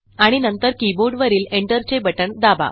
आणि नंतर कीबोर्डवरील एंटरचे बटण दाबा